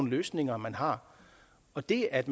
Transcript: løsninger man har og det at